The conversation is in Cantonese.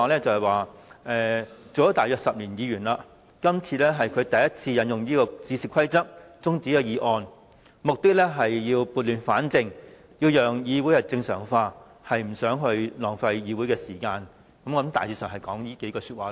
他說擔任議員約10年，今次是他首次引用《議事規則》中止議案辯論，目的是要撥亂反正，讓議會正常化，不想浪費議會時間，大致上是以上意思。